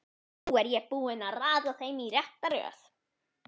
Nú er ég búinn að raða þeim í rétta röð.